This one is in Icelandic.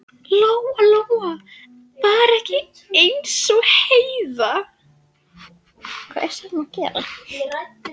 Lóa Lóa var ekki eins og Heiða